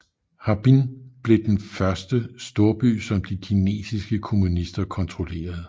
Harbin blev den første storby som de kinesiske kommunister kontrollerede